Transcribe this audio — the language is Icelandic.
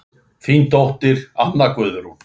Þín dóttir, Anna Guðrún.